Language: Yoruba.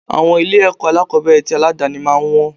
Àwọn ilé ẹ̀kọ́ alákòbẹ̀rẹ̀ tì aládàni máa ń wọn.